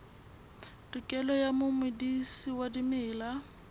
tokelo ya momedisi wa dimela